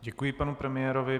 Děkuji panu premiérovi.